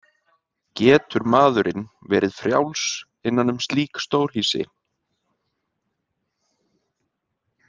Getur maðurinn verið frjáls innan um slík stórhýsi?